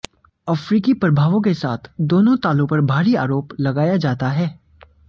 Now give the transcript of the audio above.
अफ्रीकी प्रभावों के साथ दोनों तालों पर भारी आरोप लगाया जाता है